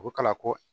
U ko kala ko